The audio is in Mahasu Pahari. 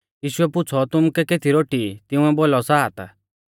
यीशुऐ पुछ़ौ तुमुकै केती रोटी ई तिंउऐ बोलौ सात